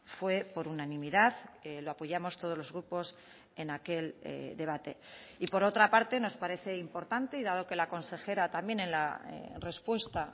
fue por unanimidad lo apoyamos todos los grupos en aquel debate y por otra parte nos parece importante y dado que la consejera también en la respuesta